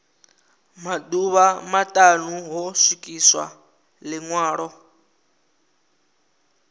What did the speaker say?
maḓuvha maṱanu ho swikiswa ḽiṅwalo